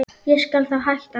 Ég skal þá hætta núna.